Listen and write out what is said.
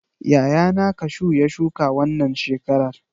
Yayana kashu ya shuka wannan shekarar.